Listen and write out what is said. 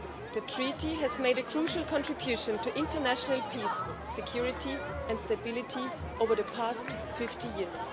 The treaty has made a crucial contribution to international peace, security and stability over the past 50 years.